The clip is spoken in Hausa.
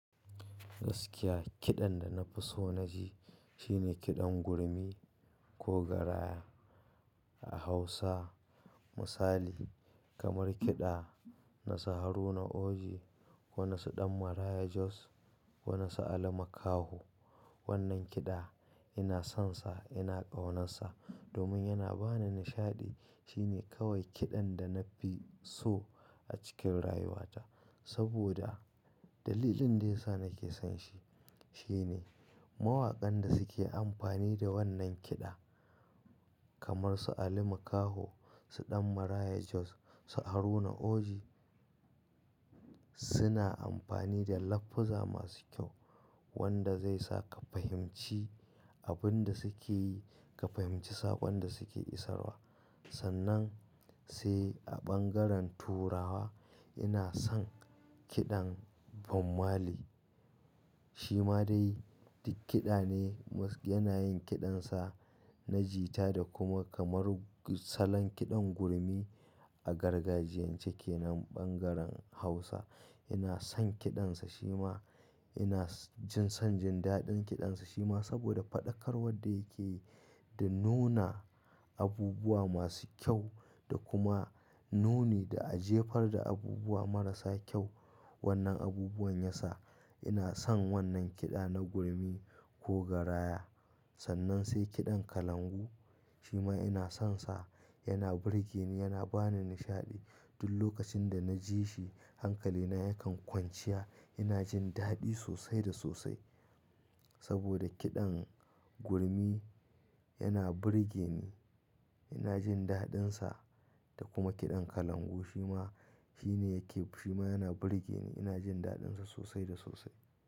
Gaskiya kiɗan da na fi so na ji shine kiɗan gurmi ko garaya a Hausa. Misali kamar kiɗa na Saharuna Oji, wani su Ɗanmaraya Jos, wani su Ali Makaho. Wannan kiɗa ina son sa, ina ƙaunansa domin yana ba ni nishaɗi. Shi ne kawai kiɗan da na fi so a cikin rayuwata. Saboda dalilin da ya sa nake son shi, shi ne mawakan da suke amfani da wannan kiɗa kamar su Ali Makaho, su Ɗanmaraya Jos, su Haruna Oji suna amfani da lafuzzu masu kyau wanda zai saka ka fahimci abin da suke yi, ka fahimci saɓon da suke isarwa. Sannan sai a ɓangaren turawa ina son kiɗan Bob Marley. Shi ma dai duk kiɗa ne yana yin kiɗansa na jita da kuma kamar salon kiɗan gurmi a gargajiyan cike nan ɓangaren Hausa. Ina son kiɗansa shi ma ina jin son jin daɗin kiɗansa shi ma saboda faɗakarwar da yake yi da nuna abubuwa masu kyau da kuma nuni da ajefar da abubuwa marasa kyau. Wannan abubuwan ya sa ina son wannan kiɗa na gurmi ko garaya. Sannan sai kiɗan kalangu shi ma ina son sa, yana burge ni, yana ba ni nishaɗi. Duk lokacin da na ji shi hankalina yakan kwanciya. Ina jin daɗi sosai da sosai saboda kiɗan gurmi yana burge ni. Ina jin daɗinsa da kuma kiɗan kalangu shi ma, shi ne yake, shi ma yana burge ni. Ina jin daɗinsa sosai da sosai.